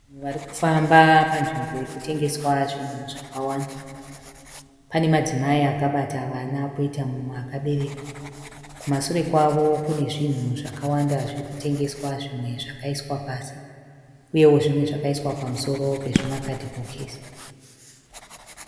Vanhu vari kufamba panzvimbo iri kutengeswa zvinhu zvakawanda. Pane madzimai akabata vana poita mumwe akabereka. Kumasure kwavo kune zvinhu zvakawanda zviri kutengeswa zvimwe zvakaiswa pasi, uyewo zvimwe zvakaiswa pamusoro pezvimakadhibhokisi.